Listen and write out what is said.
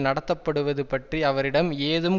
நடத்தப்படுவது பற்றி அவரிடம் ஏதும்